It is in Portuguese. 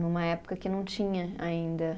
Numa época que não tinha ainda.